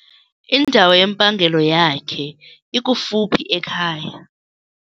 Indawo yempangelo yakhe ikufuphi ekhaya.